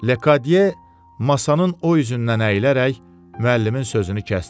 Lekadiye masanın o üzündən əylərək müəllimin sözünü kəsdi.